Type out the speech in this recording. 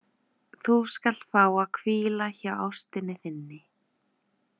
Þú skalt fá að hvíla hjá ástinni þinni.